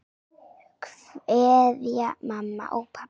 Kveðja mamma og pabbi.